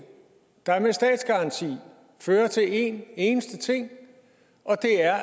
der med statsgaranti fører til en eneste ting og det er